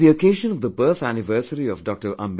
On the occasion of the birth anniversary of Dr